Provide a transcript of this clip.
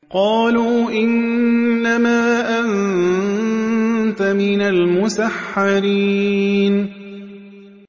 قَالُوا إِنَّمَا أَنتَ مِنَ الْمُسَحَّرِينَ